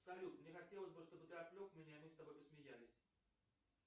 салют мне хотелось бы чтобы ты отвлек меня и мы с тобой посмеялись